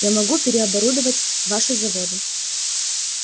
я могу переоборудовать ваши заводы